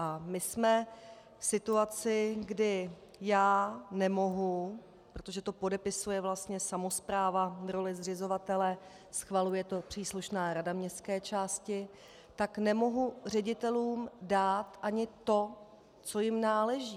A my jsme v situaci, kdy já nemohu - protože to podepisuje vlastně samospráva v roli zřizovatele, schvaluje to příslušná rada městské části - tak nemohu ředitelům dát ani to, co jim náleží.